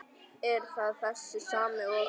Er það þessi sami og.